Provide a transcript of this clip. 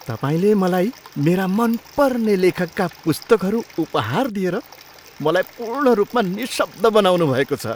तपाईँले मलाई मेरा मनपर्ने लेखकका पुस्तकहरू उपहार दिएर मलाई पूर्ण रूपमा निशब्द बनाउनुभएको छ!